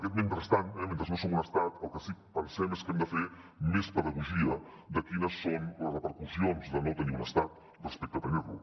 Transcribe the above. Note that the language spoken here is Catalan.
aquest mentrestant mentre no som un estat el que sí que pensem és que hem de fer més pedagogia de quines són les repercussions de no tenir un estat respecte a tenir lo